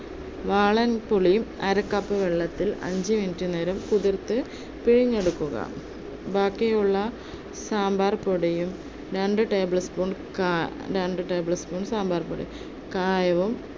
വാളൻപുളിയും അര cup വെള്ളത്തിൽ അഞ്ചു minute നേരം കുതിർത്ത് പിഴിഞ്ഞെടുക്കുക. ബാക്കിയുള്ള സാമ്പാര്‍ പൊടിയും രണ്ട്‌ tablespoon കാ~ tablespoon സാമ്പാർ പൊടിയും, കായവും